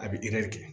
A bɛ kɛ